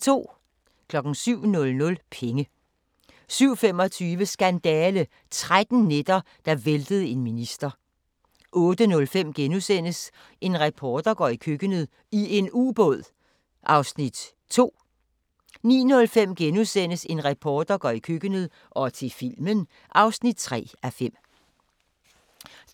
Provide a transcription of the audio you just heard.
07:00: Penge 07:25: Skandale – 13 nætter, der væltede en minister 08:05: En reporter går i køkkenet – i en ubåd (2:5)* 09:05: En reporter går i køkkenet – og til filmen (3:5)*